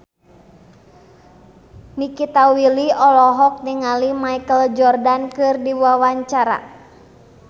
Nikita Willy olohok ningali Michael Jordan keur diwawancara